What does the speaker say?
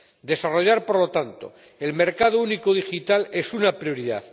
Desarrollar, por lo tanto, el mercado único digital es una prioridad.